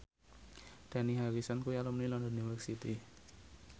Dani Harrison kuwi alumni London University